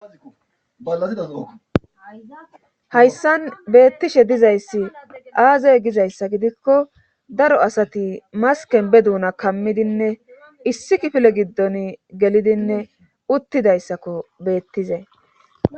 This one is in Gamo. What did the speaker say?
hayssan beettishe dizayssi aaze gizayssa gidikko daro asati masken be duuna kammidinne issi kifile giddon gelidinne uttidayssakko beettizay